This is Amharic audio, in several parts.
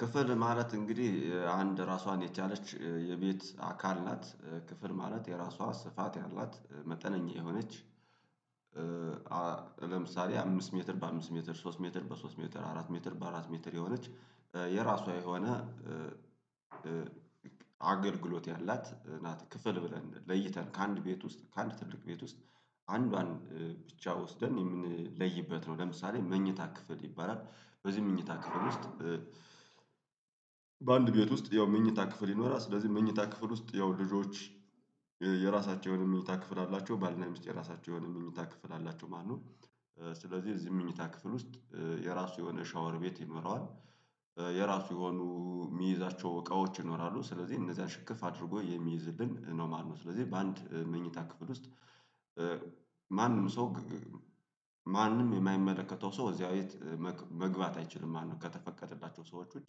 ክፍል ማለት እንግዲህ አንድ ራሷን የቻለች የቤት አካል ናት ክፍል ማለት የራሷ ስፋት ያላት መጠነኛ የሆነች። ለምሳሌ አምስት ሜትር በአምስት ሜትር ሶስት ሜትር በሶስት ሜትር አራት ሜትር በአራት ሜትር የሆነች የራሷ የሆነ አገልግሎት ያላት ናት። ክፍል ብለን ለይተን ከአንድ ቤት ውስጥ ከአንድ ትልቅ ቤት ውስጥ አንዷን ብቻ ወስደን የምንለይበት ነው። ለምሳሌ መኝታ ክፍል ይባላል በዚህ መኝታ ክፍል ውስጥ በአንድ ቤት ውስጥ ያው መኝታ ክፍል ይኖራል። ስለዚህ መኝታ ክፍል ውስጥ ያው ልጆች የራሳቸውን የመኝታ ክፍል አላቸው ባልና ሚስት የራሳቸው የሆነ የመኝታ ክፍል አላቸው ማለት ነው። ስለዚህ እዚህም ምኝታ ክፍል ውስጥ የራሱ የሆነ ሻወር ቤት ይኖረዋል። የራሱ የሆኑ የሚይዛቸው እቃዎች ይኖራሉ ስለዚህ እነዚያን ሽክፍ አድርጎ የሚይዝልን ነው ማለት ነው። ስለዚህ በአንድ መኝታ ክፍል ውስጥ ማንም ሰው ማንም የማይመለከተው ሰው እዚያ ቤት መግባት አይችልም ማለት ነው። ከተፈቀደላቸው ሰዎች ውጪ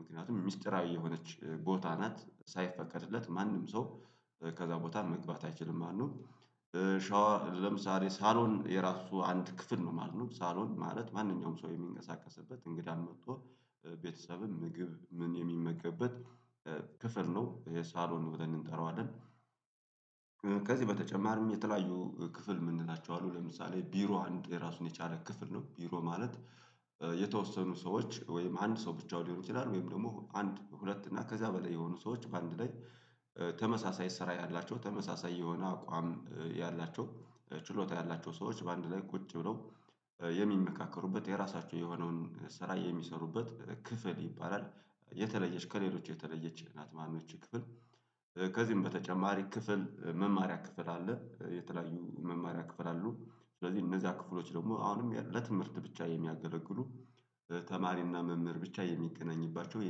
ምክንያቱም ሚስጥራዊ የሆነች ቦታ ናት ሳይፈቀድለት ማንም ሰው ከዛ ቦታ መግባት አይችልም ማለት ነው። ሻወር ለምሳሌ ሳሎን የራሱ አንድ ክፍል ነው ማለት ነው። ሳሎን ማለት ማንኛውም ሰው የሚንቀሳቀስበት እንግዳም መጥቶ ቤተሰብም ምግብ ምን የሚመገብበት ክፍል ነው የሳሎን ብለን እንጠራዋለን። ከዚህ በተጨማሪም የተለያዩ ክፍል የምንላቸው አሉ ለምሳሌ ቢሮ አንድ የራሱን የቻለ ክፍል ነው። ቢሮ ማለት የተወሰኑ ሰዎች ወይም አንድ ሰው ብቻውን ሊሆን ይችላል። ወይም ደግሞ አንድ በሁለት እና ከዛ በላይ የሆኑ ሰዎች በአንድ ላይ ተመሳሳይ ስራ ያላቸው ተመሳሳይ የሆነ አቋም ያላቸው ችሎታ ያላቸው ሰዎች በአንድ ላይ ቁጭ ብለው የሚመካከሩበት የራሳቸው የሆነውን ስራ የሚሰሩበት ክፍል ይባላል። የተለየች ከሌሎች የተለየች ናት ማለት ነው። ይቺ ክፍል ከዚህም በተጨማሪ ክፍል መማሪያ ክፍል አለ የተለያዩ መማሪያ ክፍል አሉ። ስለዚህ እነዛ ክፍሎች ደግሞ አሁንም ለትምህርት ብቻ የሚያገለግሉ ተማሪና መምህር ብቻ የሚገናኝባቸው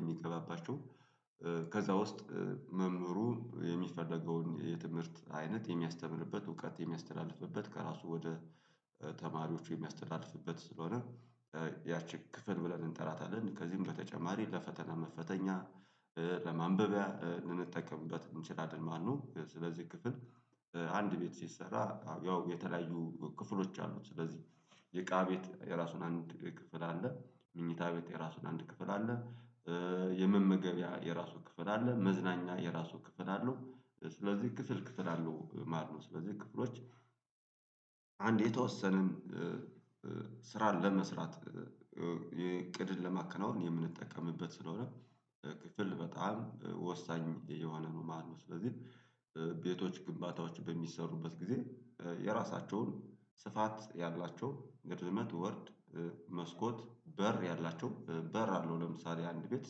የሚገባባቸው ከዛ ውስጥ መምህሩ የሚፈለገውን የትምህርት አይነት የሚያስተምርበት እውቀት የሚያስተላልፍበት ከራሱ ወደ ተማሪዎቹ የሚያስተላልፍበት ስለሆነ ያቺ ክፍል ብለን እንጠራታለን። ከዚህም በተጨማሪ ለፈተና መፈተኛ ለማንበቢያ ልንጠቀምበት እንችላለን ማለት ነው። ስለዚህ ክፍል አንድ ቤት ሲሰራ ያው የተለያዩ ክፍሎች አሉት። ስለዚህ የእቃ ቤት የራሱን አንድ ክፍል አለ። ምኝታ ቤት የራሱን አንድ ክፍል አለ። የመመገቢያ የራሱ ክፍል አለ መዝናኛ የራሱ ክፍል አለው ስለዚህ ክፍል ክፍል አለው ማለት ነው። ስለዚህ ክፍሎች አንድ የተወሰነን ስራ ለመስራት የእቅድን ለማከናወን የምንጠቀምበት ስለሆነ ክፍል በጣም ወሳኝ የሆነ ነው ማለት ነው። ስለዚህ ቤቶች ግንባታዎች በሚሰሩበት ጊዜ የራሳቸውን ስፋት ያላቸው ረዝመት ወርድ መስኮት በር ያላቸው በር አለው። ለምሳሌ አንድ ቤት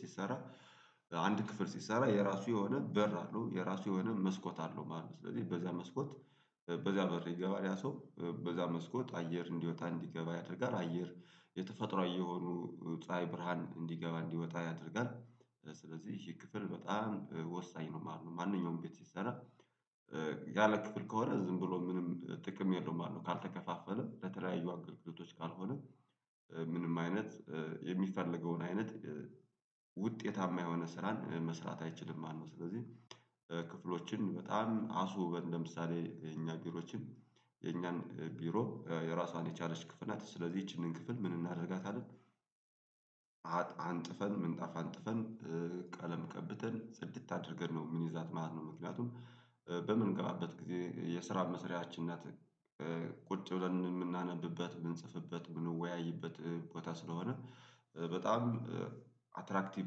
ሲሰራ አንድ ክፍል ሲሰራ የራሱ የሆነ በር አለው የራሱ የሆነ መስኮት አለው ማለት ነው። ስለዚህ በዛ መስኮት በዛ በር ይገባል ያ ሰው በዛ መስኮት አየር እንዲወጣ እንዲገባ ያደርጋል አየር የተፈጥሮአዊ የሆኑ ፀሀይ ብርሃን እንዲገባ እንዲወጣ ያደርጋል። ስለዚህ ይሄ ክፍል በጣም ወሳኝ ነው ማለት ነው። ማንኛውም ቤት ሲሰራ ያለ ክፍል ከሆነ ዝም ብሎ ምንም ጥቅም የለውም መለት ነው። ካልተከፋፈለ ለተለያዩ አገልግሎቶች ካልሆነ ምንም አይነት የሚፈለገውን አይነት ውጤታማ የሆነን ስራን መስራት አይችልም ማለት ነው። ስለዚህ ክፍሎችን በጣም አስውበን ለምሳሌ የኛን ቢሮዎችን የኛን ቢሮ የራሷን የቻለች ክፍል ናት ስለዚህ ይቺን ክፍል ምን እናደርጋታለን? አንጥፈን ምንጣፍ አንጥፈን ቀለም ቀብተን ጽድት አድርገን ነው የምንዛት ማለት ነው። ምክንያቱም በምንገባበት ጊዜ የስራ መስሪያችን ናት። ቁጭ ብለን የምናነብበት የምንጽፍበት የምንወያይበት ቦታ ስለሆነ በጣም አትራክቲቭ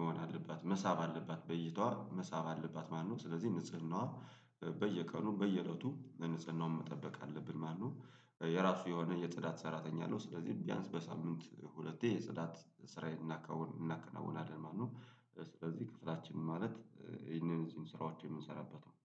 መሆን አለባት መሳብ አለባት በይቷ መሳብ አለባት። ማነው? ስለዚህ ንጽህናዋ በየቀኑ በየእለቱ ንጽህናውን መጠበቅ አለብን ማለት ነው። የራሱ የሆነ የጽዳት ሰራተኛ አለው። ስለዚህ ቢያንስ በሳምንት ሁለቴ የጽዳት ስራዬን እናከናውናለን ማለት ነው። ስለዚህ ክፍላችን ማለት ይሄንን እዚህን ስራዎች የምንሰራበት ነው።